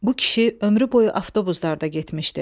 Bu kişi ömrü boyu avtobuslarda getmişdi.